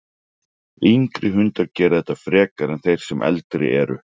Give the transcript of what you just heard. Yngri hundar gera þetta frekar en þeir sem eldri eru.